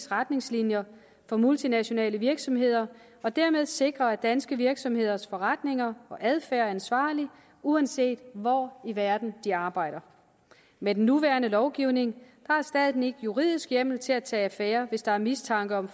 retningslinjer for multinationale virksomheder og dermed sikre at danske virksomheders forretninger og adfærd er ansvarlig uanset hvor i verden de arbejder med den nuværende lovgivning har staten ikke juridisk hjemmel til at tage affære hvis der er mistanke om